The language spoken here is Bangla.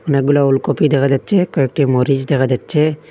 অনেকগুলো ওলকপি দেখা যাচ্ছে কয়েকটি মরিচ দেখা যাচ্ছে।